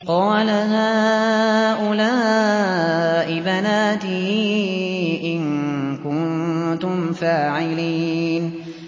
قَالَ هَٰؤُلَاءِ بَنَاتِي إِن كُنتُمْ فَاعِلِينَ